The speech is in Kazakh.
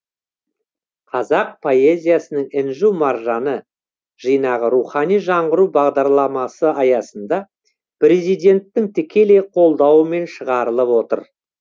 қазақ поэзиясының інжу маржаны жинағы рухани жаңғыру бағдарламасы аясында президенттің тікелей қолдауымен шығарылып отыр